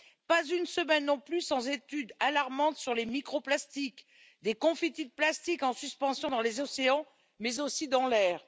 Pas une semaine, non plus, sans étude alarmante sur les micro plastiques, ces confettis de plastique en suspension dans les océans, mais aussi dans l'air.